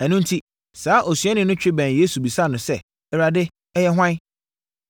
Ɛno enti saa osuani no twe bɛn Yesu bisaa no sɛ, “Awurade, ɛyɛ hwan?”